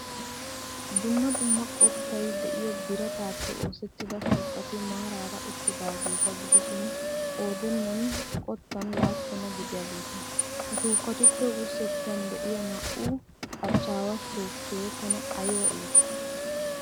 Dumma dumma qottay de'iyo birataappe oosettida shukketti maarara uttidaageeta gidishiin qoodaninne qottan laappunaa gidiyageeta. Ha shukettuppe wursettan de'ya naa'u achchaawa shukkee tana aybba iitti!